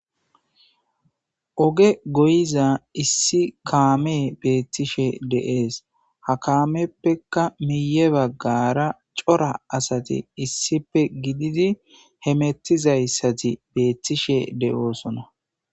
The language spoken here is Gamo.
Oge goyiza issi kaame beettishe de'ees ha kaameppekka miye baggara cora asati issipe gididi hemettizayssati beettishshe de'oosona